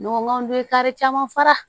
n'an dun ye kari caman fara